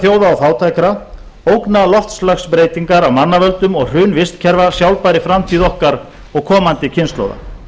þjóða og fátækra ógna loftslagsbreytingar af mannavöldum og hrun vistkerfa sjálfbærri framtíð okkar og komandi kynslóða